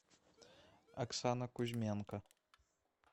оксана кузьменко